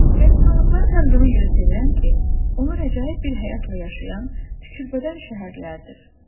Qəbirstanlıqları həm də ona görə sevirəm ki, onlar əcaib bir həyatla yaşayan tükürbədən şəhərlərdir.